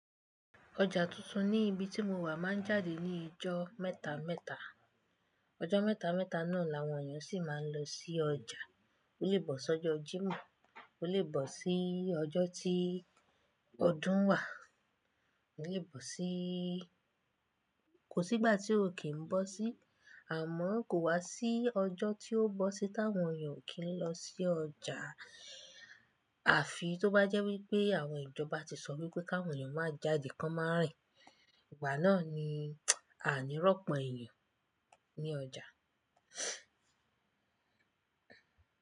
Ọjà tuntun ní ibi tí mo wà máa ń jáde ní ijó mẹ́ta mẹ́ta. Ọjó mẹ́ta mẹ́ta náà làwọn èèyàn sì máa ń lọ sí ọjà. Ó lè bọ́ sí ọjọ́ Jímọ̀, ó lè bọ́ sí ọjọ́ tí ọdún wà, ó lè bọ́ sí-- kò sí ìgbà tí ó kì í bọ́ sí, àmọ́ kò wá sí ọjọ́ tí ó bọ́ sí tí àwọn èèyàn ò kí ń lọ sí ọjà. Àfi tó bá jẹ́ wípé àwọn ìjọba tí sọ wípé káwọn èèyàn máa jáde kan má rìn. Ìgbà náà ni a ni rọ́pọ̀ èèyàn ní ọjà.